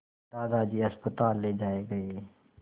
दादाजी अस्पताल ले जाए गए